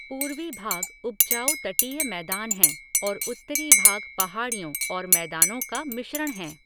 पूर्वी भाग उपजाऊ तटीय मैदान हैं और उत्तरी भाग पहाड़ियों और मैदानों का मिश्रण हैं।